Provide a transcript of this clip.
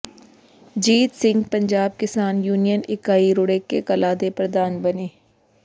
ਜੀਤ ਸਿੰਘ ਪੰਜਾਬ ਕਿਸਾਨ ਯੂਨੀਅਨ ਇਕਾਈ ਰੂੜੇਕੇ ਕਲਾਂ ਦੇ ਪ੍ਰਧਾਨ ਬਣੇ